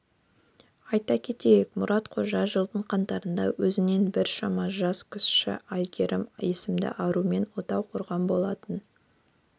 айта кетейік мұрат қожа жылдың қаңтарында өзінен біршама жас кіші әйгерім есімді арумен отау құрған болатын